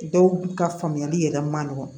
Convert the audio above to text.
Dɔw ka faamuyali yɛrɛ ma nɔgɔ